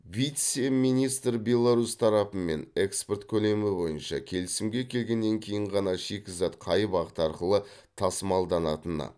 вице министр беларусь тарапымен экспорт көлемі бойынша келісімге келгеннен кейін ғана шикізат қай бағыт арқылы тасымалданатыны